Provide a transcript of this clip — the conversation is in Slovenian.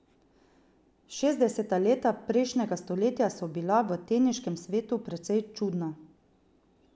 Šestdeseta leta prejšnjega stoletja so bila v teniškem svetu precej čudna.